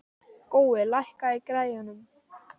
Gói, lækkaðu í græjunum.